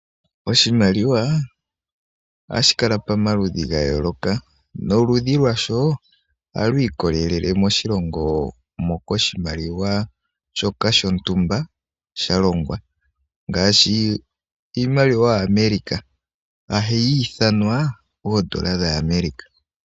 Oshimaliwa ohashi kala pomaludhi ga yooloka noludhi lwasho ohalu ikolelela moshilongo moka oshimaliwa shoka shontumba shalongwa ngaashi iimaliwa ya America ohayi ithanwa iimaliwa ya America.